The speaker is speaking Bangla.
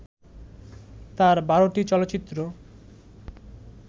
তাঁর ১২ টি চলচ্চিত্র